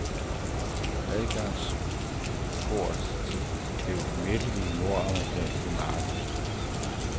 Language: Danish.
Adgangsport til det umættelige nordamerikanske marked.